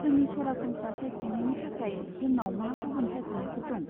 जोंनि सरासनस्रा सायख'नायनि थाखाय जोंनाव मा गुबुन सायख'नायफोर दं?